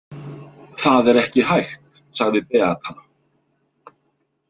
Það er ekki hægt, sagði Beata.